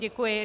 Děkuji.